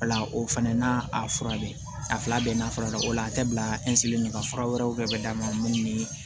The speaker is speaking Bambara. O la o fɛnɛ n'a a fura bɛ a fila bɛɛ na fara ɲɔgɔn kan a tɛ bila de la fura wɛrɛw bɛ d'a ma mun ni